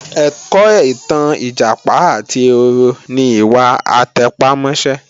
Ẹ̀kọ́ ìtàn Ìjàpá àti ehoro ni ìwà àtẹpámọ́sẹ́